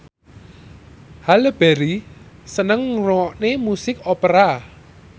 Halle Berry seneng ngrungokne musik opera